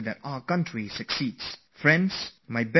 So friends lots of good wishes to you all